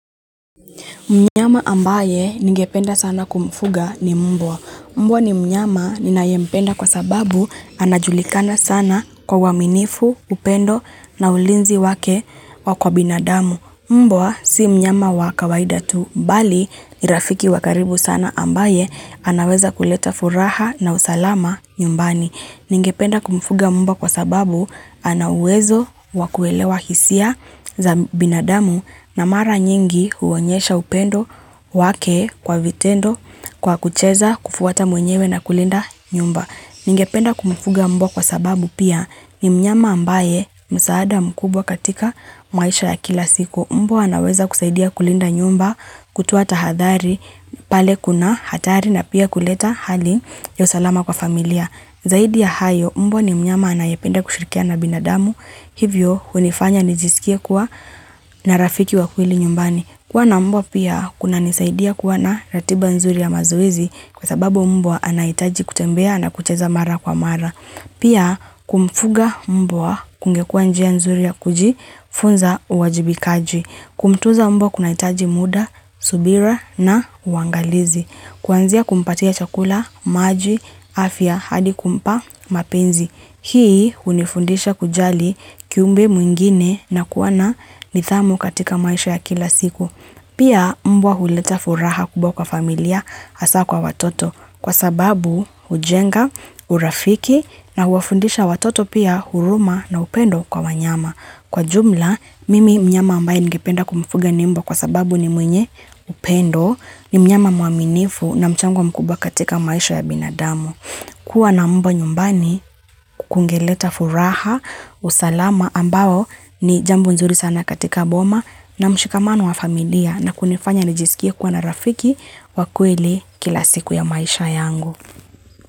Mnyama ambaye ningependa sana kumfuga ni mbwa. Mbwa ni mnyama ninayempenda kwa sababu anajulikana sana kwa uaminifu, upendo na ulinzi wake kwa binadamu. Mbwa si mnyama wa kawaida tu bali, ni rafiki wakaribu sana ambaye anaweza kuleta furaha na usalama nyumbani. Ningependa kumfuga mbwa kwa sababu, ana uwezo wakuelewa hisia za binadamu na mara nyingi huonyesha upendo wake kwa vitendo, kwa kucheza, kufuata mwenyewe na kulinda nyumba. Ningependa kumfuga mbwa kwa sababu pia, ni mnyama ambaye msaada mkubwa katika maisha ya kila siku. Mbwa anaweza kusaidia kulinda nyumba, kutoa tahadhari pale kuna hatari na pia kuleta hali ya usalama kwa familia. Zaidi ya hayo, mbwa ni mnyama anayependa kushirikiana na binadamu. Hivyo, hunifanya nijisikie kuwa na rafiki wa kweli nyumbani. Kuwa na mbwa pia, kunanisaidia kuwa na ratiba nzuri ya mazoezi kwa sababu mbwa anahitaji kutembea na kucheza mara kwa mara. Pia, kumfuga mbwa kungekua njia nzuri ya kujifunza uwajibikaji. Kumtunza mbwa kunahitaji muda, subira na uangalizi. Kuanzia kumpatia chakula, maji, afya, hadi kumpa mapenzi. Hii hunifundisha kujali kiumbe mwingine na kuwa na nidhamu katika maisha ya kila siku. Pia, mbwa huleta furaha kubwa kwa familia hasa kwa watoto kwa sababu hujenga, urafiki na huwafundisha watoto pia huruma na upendo kwa wanyama. Kwa ujumla, mimi mnyama ambaye ningependa kumfuga ni mbwa kwa sababu ni mwenye upendo, ni mnyama mwaminifu na mchango mkubwa katika maisha ya binadamu. Kuwa na mba nyumbani kungeleta furaha, usalama ambao ni jambu nzuri sana katika boma na mshikamano wa familia na kunifanya nijisikie kuwa na rafiki wa kweli kila siku ya maisha yangu.